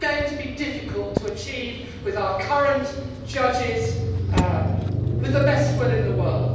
It is going to be difficult to achieve this with our current judges, with the best will in the world.